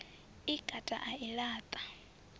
i kata a i laṱa